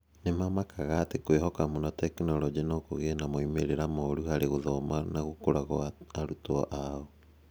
Nĩ maamakaga atĩ kwĩhoka mũno tekinolonjĩ no kũgĩe na moimĩrĩro moru harĩ gũthoma na gũkũra kwa arutwo ao.